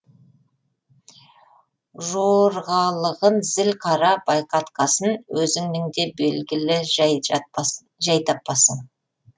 жорғалығын зіл қара байқатқасын өзіңнің де белгілі жай таппасың